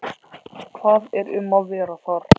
Hvað er um að vera þar?